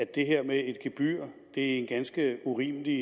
det her med et gebyr er en ganske urimelig